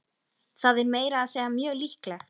Það er meira að segja mjög líklegt.